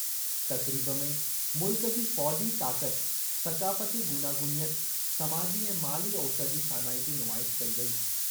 तक़रीब में मुल्क जी फ़ौजी ताक़ति, सक़ाफ़ती गूनागूनियत समाजी ऐं माली ओसरि जी शानाइती नुमाइश कई वेई।